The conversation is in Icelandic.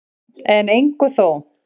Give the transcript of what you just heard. En engu þó.